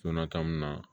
Donna ta mun na